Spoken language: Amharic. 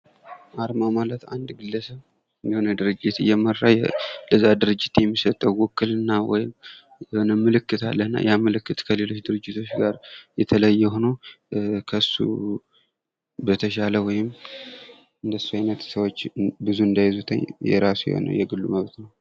አርማ ማለት አንድ ግለሰብ የሆነ ድርጂት እየመራ ለዚያ ድርጅት የሚሰጠው ውክልና ወይም ምልክት አለና ያ ምልክት ከሌሎች ድርጅቶች ጋር የተለየ ሁኖ ከእሱ በተሻለ ወይም እንደሱ አይነት ሰወች ብዙ እንዳይዙት የራሱ የሆነ የግሉ ማለት ነው።